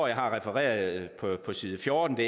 jeg har refereret fra side fjorten